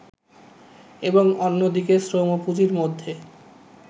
এবং অন্যদিকে শ্রম ও পুঁজির মধ্যে